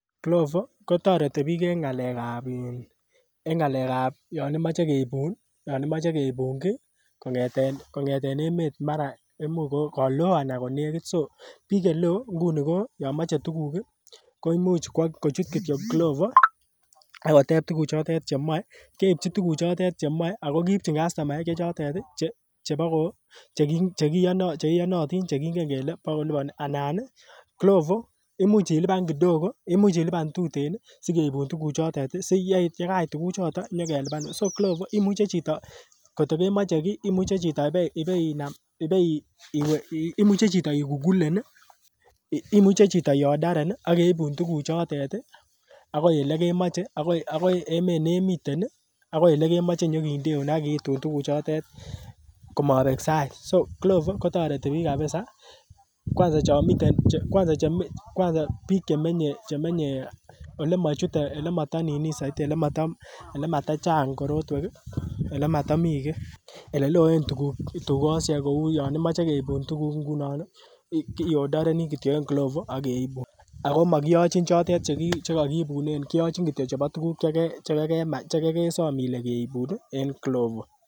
Glovo kotareti piik en ng'alek ap yan imache keipun ki kong'eten emet mara ka loo anan kanekit. So, piik che lo kou yan mache tuguuk koimuch kowa kochut kityo Glovo akotep tuguchotet che mae, keipchin tuguchotet che mae ak keipchin kastomaek che chotet chepo che iyanantin che kingen kole pa kilipani ana Glovo imuch ilipan tutikin si keipun tuguchotet si ko ye kait tuguchotet nyi kelipanin so Glovo imuchi chito kot ko kemache ki imuchi chito igugulen i, imuchi iodan chito ak keipun tuguchotet akoi ole imache, akoi emet ne imiten keipun tuguchotet ko mapek sait. So glovo ko tareti piik kapisa kwansa piik che menye ole mata chang' korotwek i,ole mata mii ki, ole loen dukoshek koun yan imache keipun tuguk ngunon i, iodareni kityo en Glovo ak keipun. Ako makiyachin chotet che kakiipunen kiyachin kityo chepo che kekesam ile keipun en Glovo.